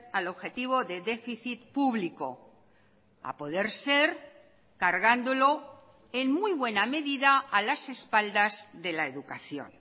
al objetivo de déficit público a poder ser cargándolo en muy buena medida a las espaldas de la educación